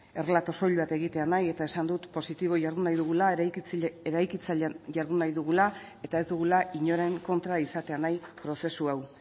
errelato soil bat egitea nahi eta esan dut positibo jardun nahi dugula eraikitzaile jardun nahi dugula eta ez dugula inoren kontra izatea nahi prozesu hau